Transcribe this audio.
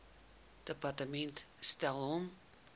departement stel hom